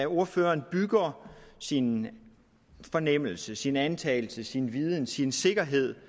ordføreren bygger sin fornemmelse sin antagelse sin viden sin sikkerhed